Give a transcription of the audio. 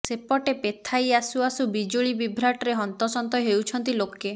ସେପଟେ ପେଥାଇ ଆସୁ ଆସୁ ବିଜୁଳି ବିଭ୍ରାଟରେ ହନ୍ତସନ୍ତ ହେଉଛନ୍ତି ଲୋକେ